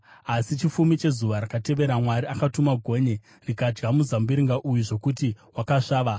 Asi chifumi chezuva rakatevera Mwari akatuma gonye rikadya muzambiringa uyu zvokuti wakasvava.